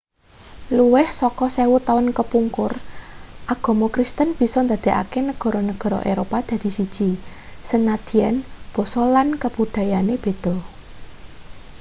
luwih saka sewu taun kepungkur agama kristen bisa ndadekake negara-negara eropa dadi siji sanadyan basa lan kabudayane beda i